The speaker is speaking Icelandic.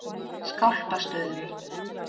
Skálpastöðum